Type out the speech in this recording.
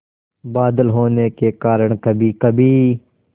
बादल होने के कारण कभीकभी